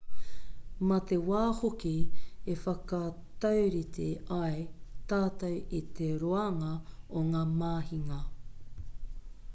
mā te wā hoki e whakataurite ai tātou i te roanga o ngā mahinga